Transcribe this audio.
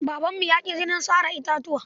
Babanmu ya ƙi jinin sare bishiya.